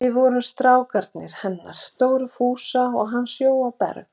Við vorum strákarnir hennar Dóru Fúsa og hans Jóa Berg.